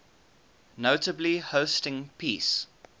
notably hosting peace